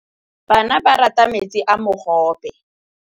Bana ba rata metsi a mogobe.